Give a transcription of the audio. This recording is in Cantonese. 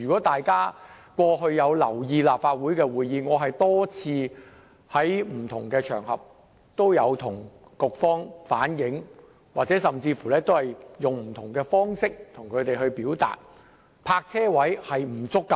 大家過去如有留意立法會會議，便知我曾多次在不同場合向局方反映，並採取不同方式向局方表達，泊車位數量不足的問題。